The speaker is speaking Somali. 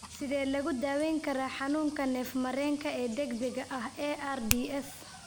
Sidee lagu daweyn karaa xanuunka neef-mareenka ee degdega ah (ARDS)?